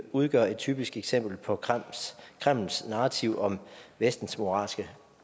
udgør et typisk eksempel på kremls kremls narrativ om vestens moralske